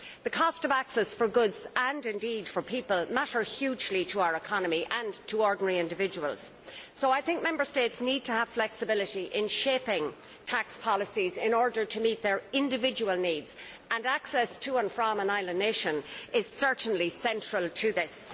The cost of access for goods, and indeed for people, matter hugely to our economy and to ordinary individuals, so I think Member States need to have flexibility in shaping tax policies in order to meet their individual needs, and access to and from an island nation is certainly central to this.